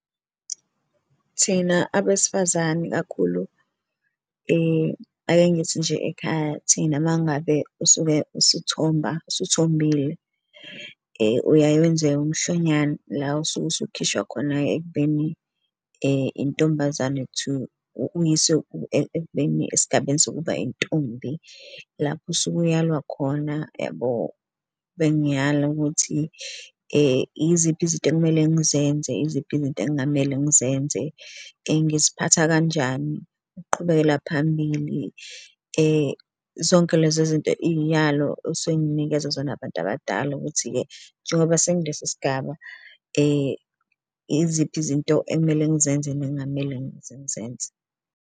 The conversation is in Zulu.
Thina abesifazane ikakhulu ake ngithi nje ekhaya thina uma ngabe usuke usuthomba, usuthombile uyaye wenze umhlonyane la osuke usukhishiwa khona ekubeni intombazane to uyiswe esigabeni sokuba intombi. Lapho usuke uyalwa khona, yabo. Bengiyala ukuthi iziphi izinto ekumele ngizenze, iziphi izinto ekungamele ngizenze, ngiziphatha kanjani ukuqhubekela phambili zonke lezo zinto iy'yalo okusuke nginikwezwa zona abantu abadala. Ukuthi-ke njengoba sengilesi sigaba, iziphi izinto ekumele ngizenze nekungamele ngizenze.